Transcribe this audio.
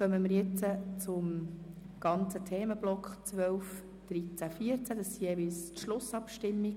Wir kommen jetzt zu den Themenblöcken 12, 13, 14. 12.b Schlussabstimmung